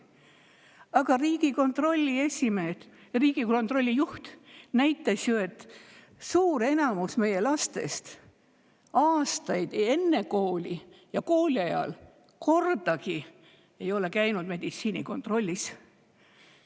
Aga Riigikontrolli juht näitas ju, et enamik meie lastest ei ole aastaid enne kooli ega ka kooli ajal kordagi käinud meditsiinilises kontrollis.